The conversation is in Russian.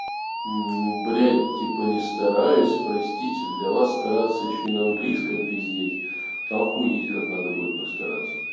ну блядь типа не стараюсь простите для вас стараться ещё и на английском пиздеть охуеть как надо будет постараться